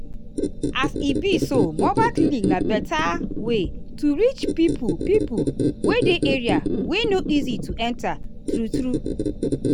as e be so mobile clinic na better way to reach pipo pipo wey dey area wey no easy to enta true-true.